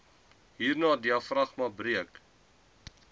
hernia diafragma breuk